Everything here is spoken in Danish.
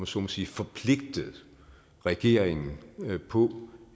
så må sige forpligtet regeringen på